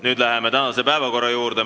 Nüüd läheme tänase päevakorra juurde.